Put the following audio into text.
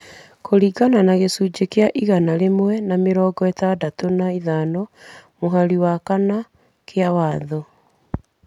kũringana na gĩcunjĩ kĩa igana rĩmwe na mĩrongo ĩtandatũ na ithano mũhari wa kana kĩa Watho.